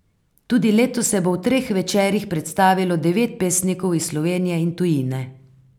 Tudi letos se bo v treh večerih predstavilo devet pesnikov iz Slovenije in tujine.